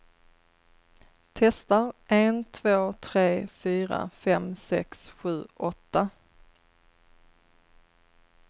Testar en två tre fyra fem sex sju åtta.